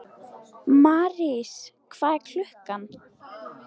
Marís, hvað er klukkan?